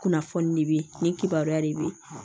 Kunnafoni de bɛ ye nin kibaruya de bɛ yen